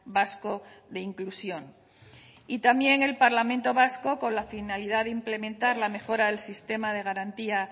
vasco de inclusión y también el parlamento vasco con la finalidad de implementar la mejora del sistema de garantía